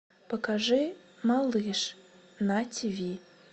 покажи малыш на тв